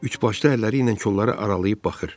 Üçbaşlı əlləri ilə kolları aralayıb baxır.